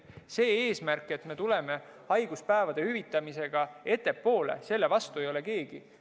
Selle eesmärgi vastu, et me tuleme haiguspäevade hüvitamisega ettepoole, ei ole keegi.